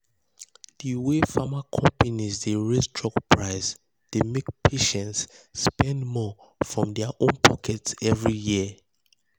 the way pharma companies dey raise drug price dey make patients spend more from their own pocket every year.